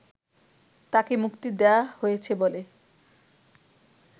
তাকে মুক্তি দেয়া হয়েছে বলে